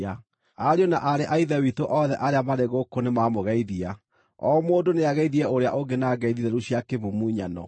Ariũ na aarĩ a Ithe witũ othe arĩa marĩ gũkũ nĩmamũgeithia. O mũndũ nĩageithie ũrĩa ũngĩ na ngeithi theru cia kĩmumunyano.